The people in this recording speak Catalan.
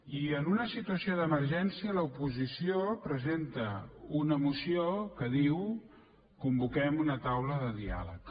i en una situació d’emergència l’oposició presenta una moció que diu convoquem una taula de diàleg